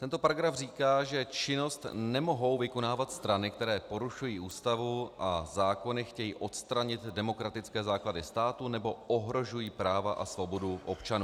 Tento paragraf říká, že činnost nemohou vykonávat strany, které porušují Ústavu a zákony, chtějí odstranit demokratické základy státu nebo ohrožují práva a svobodu občanů.